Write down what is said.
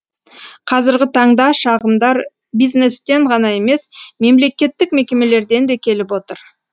қазіргі таңда шағымдар бизнестен ғана емес мемлекеттік мекемелерден де келіп отыр